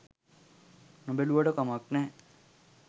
නොබැලුවට කමක් නැහැ.